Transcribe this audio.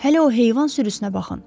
Hələ o heyvan sürüsünə baxın.